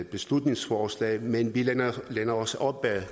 beslutningsforslag men vi læner læner os op ad